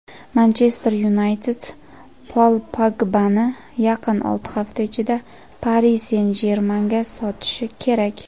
"Manchester Yunayted" Pol Pogbani yaqin olti hafta ichida "Pari Sen-Jermen"ga sotishi kerak.